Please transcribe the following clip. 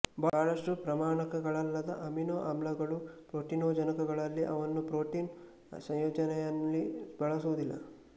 ಬಹಳಷ್ಟು ಪ್ರಮಾಣಕಗಳಲ್ಲದ ಅಮಿನೊ ಆಮ್ಲಗಳು ಪ್ರೋಟೀನೊಜನಕಗಳಲ್ಲ ಅವನ್ನು ಪ್ರೋಟೀನ್ ಸಂಯೋಜನೆಯಲ್ಲಿ ಬಳಸುವುದಿಲ್ಲ